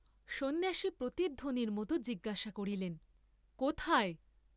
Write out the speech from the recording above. সন্ন্যাসী প্রতিধ্বনির মত জিজ্ঞাসা করিলেন, কোথায়?